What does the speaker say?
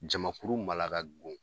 Jamakuru mala ka go